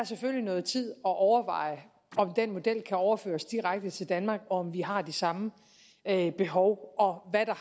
noget tid at overveje om den model kan overføres direkte til danmark og om vi har de samme behov og hvad der